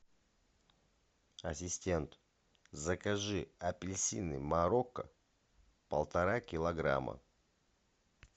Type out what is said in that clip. ассистент закажи апельсины марокко полтора килограмма